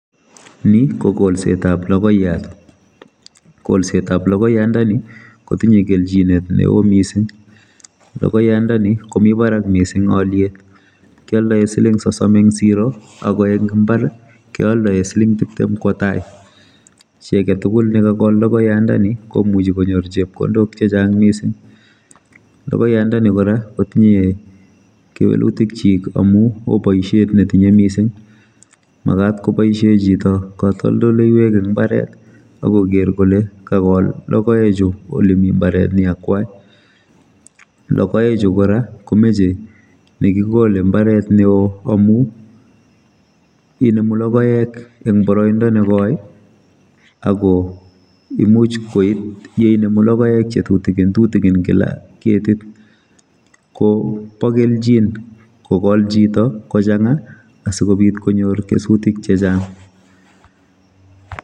Ni kokolsetab logoiat kolsetab logoyandoni kotinye kelchinet neo mising logoyandoni komi barak mising oliet kioldoe siling sosom eng siro ako eng imbar keoldoe siling tiptem kwo tai chi aketugul nekakol logoyandoni komuchi konyor chepkondok chechang mising logoyandoni kora kotinye kewelutikyik amuo boisiet netinye mising magat koboisie chito katoldoleiwek eng imbaret akoker kole kakol lokoechu eng imbaret ne akwai lokoechu kora komeche nekikole mbaret neo amu inemu lokoek eng boroindo nekoi akomuch koi atyainemu lokoek chetutigin kila ketit kobokelchin kokol chito kochanga asikobit konyor kesutik chechang.